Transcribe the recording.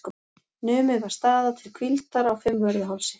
Numið var staðar til hvíldar á Fimmvörðuhálsi.